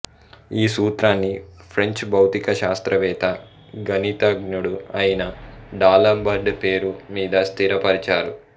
ఈ సూత్రాన్ని ఫ్రెంచ్ భౌతిక శాస్త్రవేత్త గణితజ్ఞుడు అయిన డాలంబర్ట్ పేరు మీద స్థిర పరిచారు